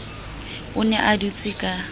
o ne a dutse ka